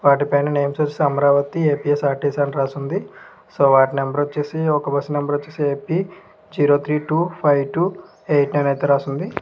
వాటి పైన name వచ్చేసి అమరావతి ఏ_పీ_ఎస్_ఆర్_టి_సి_ అని రాసి ఉంది. సో వాటి నెంబర్ వచ్చేసి ఒక బస్సు నెంబర్ వచ్చేసి A P zero three two five two eight nine అని రాసి ఉంది.